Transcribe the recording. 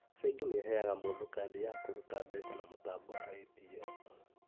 Bengi nĩheaga mũndũ kandi ya kũruta mbeca na mũtambo wa ATM